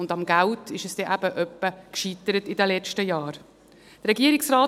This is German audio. Am Geld scheitert es in den letzten Jahren dann eben manchmal.